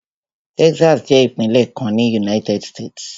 Texas jẹ́ ìpínlẹ̀ kan ní United States.